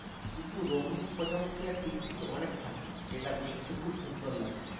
কিন্তু রোনিং প্রজাপতি আর টিকটিকি অনেক থাকে আর দেখতে খুব সুন্দর লাগে।